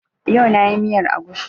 Yau na yi miyar agushi